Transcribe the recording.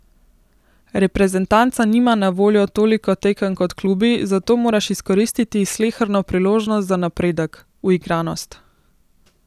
Reprezentanca nima na voljo toliko tekem kot klubi, zato moraš izkoristiti sleherno priložnost za napredek, uigranost.